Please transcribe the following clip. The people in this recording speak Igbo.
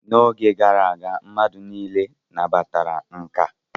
N'oge gara aga, mmadụ niile nabatara nka